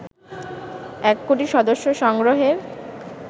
১ কোটি সদস্য সংগ্রহের